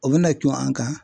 O bɛna cun an kan